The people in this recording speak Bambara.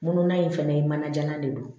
Mununa in fɛnɛ ye manajalan de don